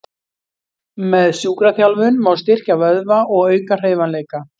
Með sjúkraþjálfun má styrkja vöðva og auka hreyfanleika.